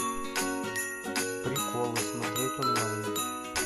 приколы смотреть онлайн